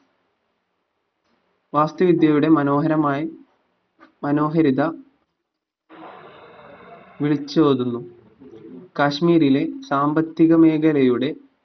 വാസ്തുവിദ്യയുടെ മനോഹരമായി മനോഹാരിത വിളിച്ചോതുന്നു കാശ്മീരിലെ സാമ്പത്തിക മേഖലയുടെ